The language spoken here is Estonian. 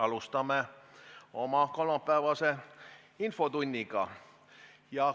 Alustame oma kolmapäevast infotundi.